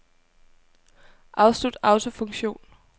Afslut autofunktion.